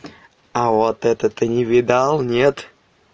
а вот это ты не видал нет